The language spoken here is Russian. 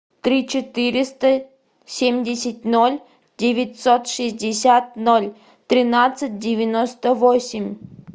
три четыреста семьдесят ноль девятьсот шестьдесят ноль тринадцать девяносто восемь